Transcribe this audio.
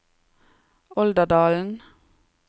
Olderdalen